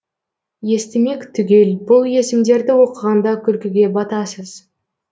естілмек түгел бұл есімдерді оқығанда күлкіге батасыз